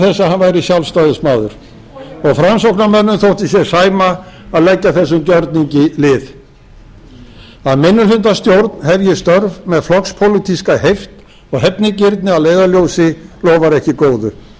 hann væri sjálfstæðismaður og framsóknarmönnum þótti sér sæma að leggja þessum gjörningi lið að minnihlutastjórn hefji störf með flokkspólitíska heift og hefnigirni að leiðarljósi lofar ekki